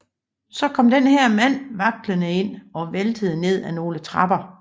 Så kom den her mand vaklende ind og væltede ned af nogle trapper